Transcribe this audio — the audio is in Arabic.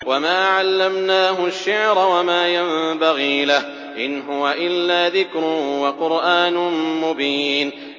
وَمَا عَلَّمْنَاهُ الشِّعْرَ وَمَا يَنبَغِي لَهُ ۚ إِنْ هُوَ إِلَّا ذِكْرٌ وَقُرْآنٌ مُّبِينٌ